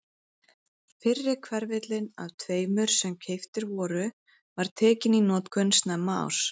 Fyrri hverfillinn af tveimur sem keyptir voru var tekinn í notkun snemma árs